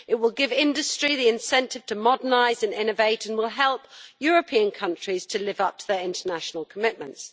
It will give industry the incentive to modernise and innovate and will help European countries to live up to their international commitments.